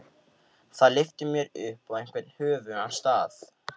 Það lyfti mér upp á einhvern höfugan stað.